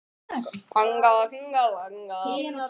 Móbergsfjöll eru einkum á sömu svæðum og nútíma eldstöðvar.